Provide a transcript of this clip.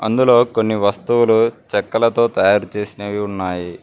ఇందులో కొన్ని వస్తువులు చెక్కలతో తయారు చేసినవి ఉన్నాయి.